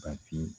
Ka fiye